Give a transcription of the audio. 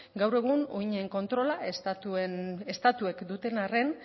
gaur egun uhinen kontrola estatuek duten arren